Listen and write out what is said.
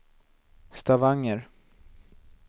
Stavanger